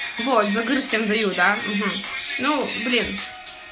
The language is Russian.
вот за грудь всем даю да ну блин